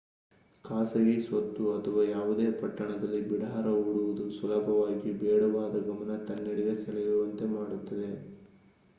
ಖಾಸಗಿ ಸ್ವತ್ತು ಅಥವಾ ಯಾವುದೇ ಪಟ್ಟಣದಲ್ಲಿ ಬಿಡಾರ ಹೂಡುವುದು ಸುಲಭವಾಗಿ ಬೇಡವಾದ ಗಮನ ತನ್ನೆಡೆಗೆ ಸೆಳೆಯುವಂತೆ ಮಾಡುತ್ತದೆ